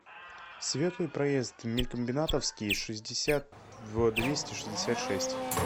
светлый проезд мелькомбинатовский шестьдесят в двести шестьдесят шесть